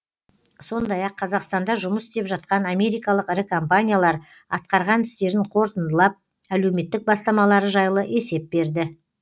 сондай ақ қазақстанда жұмыс істеп жатқан америкалық ірі компаниялар атқарған істерін қорытындылап әлеуметтік бастамалары жайлы есеп берді